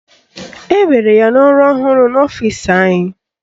Ewere ya n'ọrụ ọhụrụ n'ọfịsi anyị